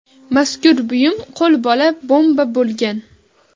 Mazkur buyum qo‘lbola bomba bo‘lgan.